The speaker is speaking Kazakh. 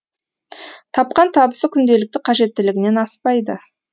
тапқан табысы күнделікті қажеттілігінен аспайды